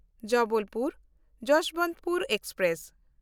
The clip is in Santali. ᱡᱚᱵᱚᱞᱯᱩᱨ–ᱡᱚᱥᱵᱚᱱᱛᱯᱩᱨ ᱮᱠᱥᱯᱨᱮᱥ